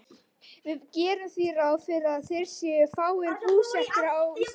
Við gerum því ráð fyrir að þeir séu fáir búsettir á Íslandi.